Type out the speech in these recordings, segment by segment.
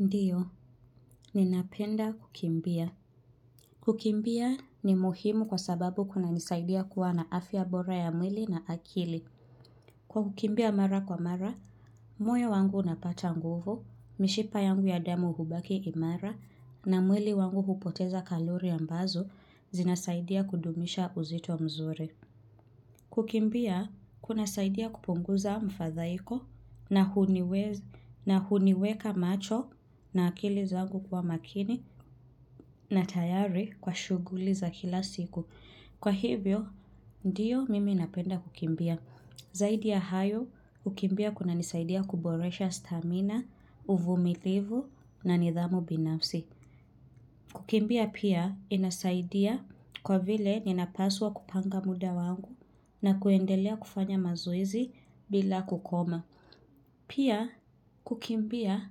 Ndiyo, ninapenda kukimbia. Kukimbia ni muhimu kwa sababu kuna nisaidia kuwa na afya ya bora ya mwili na akili. Kwa kukimbia mara kwa mara, moyo wangu unapata nguvu, mishipa yangu ya damu hubaki imara, na mwili wangu hupoteza kalori ambazo, zinasaidia kudumisha uzito mzuri. Kukimbia, kuna saidia kupunguza mfadhaiko na huniweka macho na akili zangu kuwa makini na tayari kwa shughuli za kila siku. Kwa hivyo, ndio mimi inapenda kukimbia. Zaidi ya hayo, kukimbia kuna nisaidia kuboresha stamina, uvumilivu na nidhamu binafsi. Kukimbia pia inasaidia kwa vile ninapaswa kupanga muda wangu na kuendelea kufanya mazoezi bila kukoma. Pia kukimbia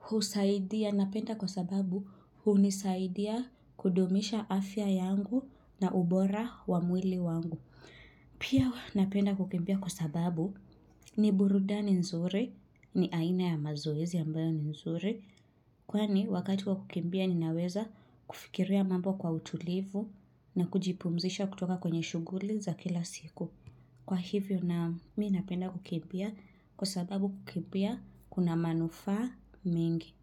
husaidia napenda kwa sababu hunisaidia kudumisha afya yangu na ubora wamwili wangu. Pia napenda kukimbia kwa sababu ni burudani nzuri ni aina ya mazoezi ambayo nzuri. Kwani wakati kwa kukimbia ninaweza fikiria ya mambo kwa utulivu na kujipumzisha kutoka kwenye shughuli za kila siku. Kwa hivyo naam mimi napenda kukimbia kwa sababu kukimbia kuna manufaa mingi.